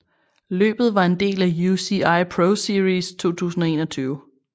Løbet var en del af UCI ProSeries 2021